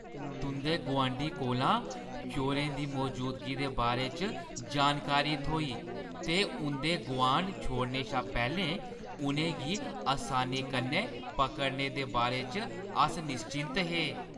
तुंʼदे गुआंढी कोला चोरें दी मजूदगी दे बारे च जानकारी थ्होई ते उंʼदे गुआंढ छोड़ने शा पैह्‌लें उʼनें गी असानी कन्नै पकड़ने दे बारे च अस निश्चिंत हे ।